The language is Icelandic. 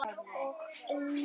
Þetta er orðið að vana.